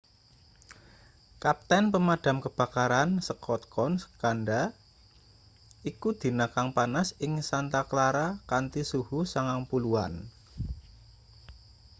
kapten pemadam kebakaran scott kouns kandha iku dina kang panas ing santa clara kanthi suhu 90-an